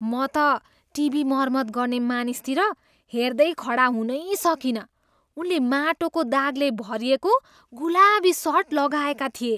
म त टिभी मर्मत गर्ने मानिसतिर हेर्दै खडा हुनै सकिनँ। उनले माटोको दागले भरिएको गुलाबी सर्ट लगाएका थिए।